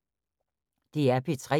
DR P3